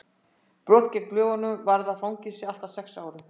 brot gegn lögunum varða fangelsi allt að sex árum